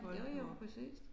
Jo jo præcist